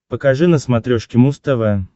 покажи на смотрешке муз тв